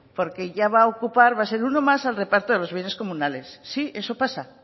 porque ya va ocupar va a ser uno más al reparto a los bienes comunales sí eso pasa